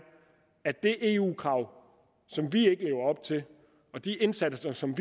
at det eu krav som vi ikke lever op til og de indsatser som